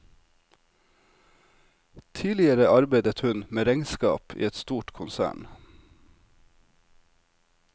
Tidligere arbeidet hun med regnskap i et stort konsern.